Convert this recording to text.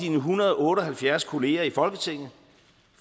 en hundrede og otte og halvfjerds kolleger i folketinget